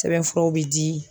Sɛbɛnfuraw bi di.